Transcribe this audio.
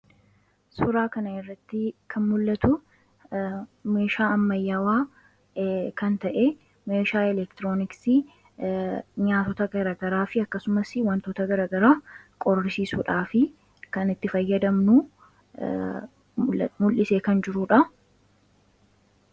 Suuraa kana irratti kan mul'atu meeshaa ammayyawaa kan ta'e meeshaa elektirooniksii nyaatota garagaraa fi akkasumas wantoota garagaraa qorisiisuudhaa fi kanitti fayyadamnuu mul'ise kan jiruudha.